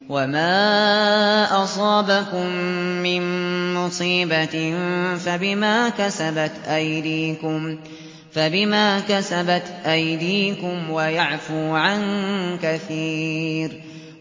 وَمَا أَصَابَكُم مِّن مُّصِيبَةٍ فَبِمَا كَسَبَتْ أَيْدِيكُمْ وَيَعْفُو عَن كَثِيرٍ